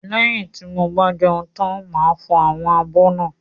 Lẹ́yin tí mo bá jẹun tán máa fọ àwọn abọ́ náà.